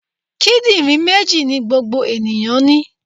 Kíndìnrín méjì ni gbogbo ènìyàn ní.